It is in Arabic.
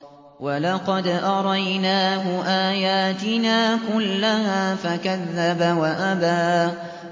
وَلَقَدْ أَرَيْنَاهُ آيَاتِنَا كُلَّهَا فَكَذَّبَ وَأَبَىٰ